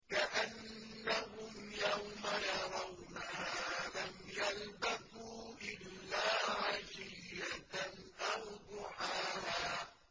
كَأَنَّهُمْ يَوْمَ يَرَوْنَهَا لَمْ يَلْبَثُوا إِلَّا عَشِيَّةً أَوْ ضُحَاهَا